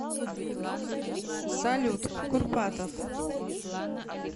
салют курпатов